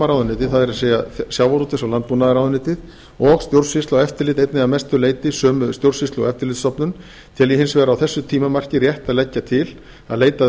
ráðuneytið það er sjávarútvegs og landbúnaðarráðuneytið og stjórnsýsla og eftirlit einnig að mestu leyti sömu stjórnsýslu og eftirlitsstofnun tel ég hins vegar á þessu tímamarki rétt að að leggja til að leitað